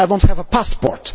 I do not have a passport